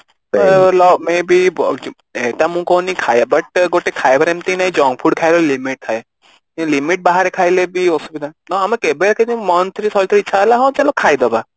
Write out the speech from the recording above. ତ may be ସେଇଟା ମୁଁ କହୁନି ଖାଇବା but ଖାଇବା ଏମିତି ନାଇଁ junk food ଖାଇବା limit ଥାଏ ସେଇ limit ସେଇ limit ବାହାରେ ବି ଖାଇଲେ ବି ଅସୁବିଧା ନହେଲେ କେବେ କେମିତି month ରେ ଥରେ ଇଛା ହେଲା ହଁ ଚାଲ ଖାଇଦବା